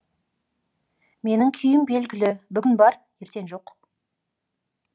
менің күйім белгілі бүгін бар ертең жоқ